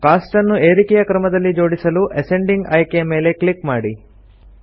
coast ಅನ್ನು ಏರಿಕಯ ಕ್ರಮದಲ್ಲಿ ಜೋಡಿಸಲು ಅಸೆಂಡಿಂಗ್ ಆಯ್ಕೆಯ ಮೇಲೆ ಕ್ಲಿಕ್ ಮಾಡಿ